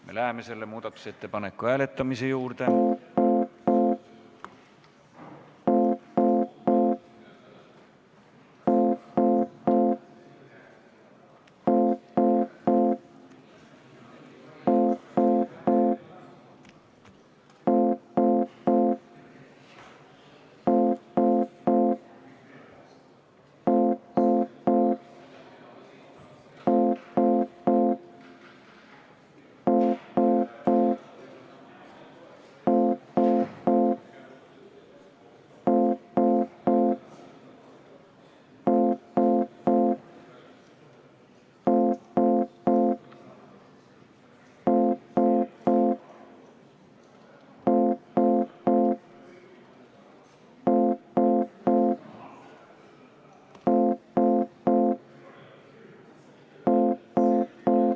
Me läheme selle muudatusettepaneku hääletamise juurde.